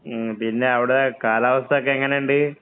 പിന്നെ, അവിടെ കാലാവസ്ഥ ഒക്കെ എങ്ങനെയൊണ്ട്?